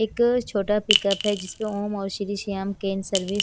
एक छोटा पिकअप है जिसमें ओम और श्री श्याम कैन सर्विस --